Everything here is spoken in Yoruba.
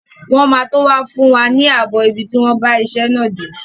Wọ́n máa tó wá fún wa ààbọ̀ ibi tí wọ́n bá iṣẹ́ ilé náà dé.